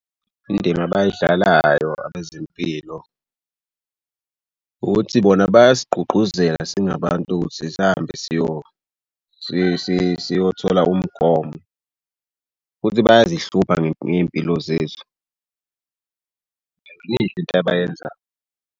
Indima abayidlalayo abezempilo ukuthi bona bayasigqugquzela singabantu ukuthi sihambe siyothola umgomo futhi bayazihlupha ngey'mpilo zethu. Yinhle into abayenzayo.